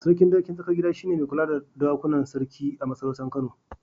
Sarkin dawakin Tsakar Gida shi ne mai kula da dokunan sarki a masarautar Kano.